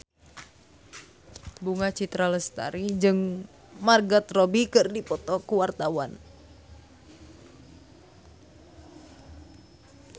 Bunga Citra Lestari jeung Margot Robbie keur dipoto ku wartawan